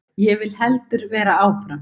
Ég vil heldur vera áfram.